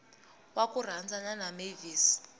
wa ku rhandzana na mavis